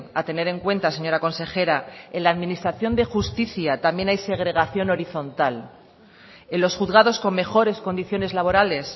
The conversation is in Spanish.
a tener en cuenta señora consejera en la administración de justicia también hay segregación horizontal en los juzgados con mejores condiciones laborales